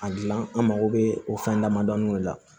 A gilan an mago bɛ o fɛn damadɔnin de la